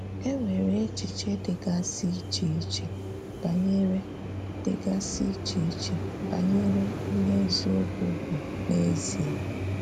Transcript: Énwere èchìchè dìgàsị ìché-ìché banyere dìgàsị ìché-ìché banyere íhè ezìokwu bụ́ n’eziè.